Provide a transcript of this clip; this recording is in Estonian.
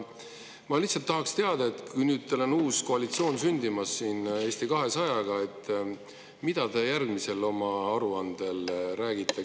Ma lihtsalt tahaksin teada, mida te nüüd, kui teil on uus koalitsioon sündimas koos Eesti 200-ga, oma järgmises aruandes räägite.